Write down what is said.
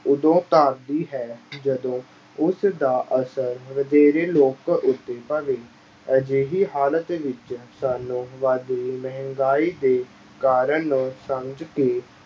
ਉਦੋਂ ਧਾਰਦੀ ਹੈ ਜਦੋਂ ਉਸ ਦਾ ਅਸਰ ਵਧੇਰੇ ਲੋਕ ਅਜਿਹੀ ਹਾਲਤ ਵਿੱਚ ਸਾਨੂੰ ਵੱਧਦੀ ਮਹਿੰਗਾਈ ਦੇ ਕਾਰਨ ਨੂੰ ਸਮਝ ਕੇ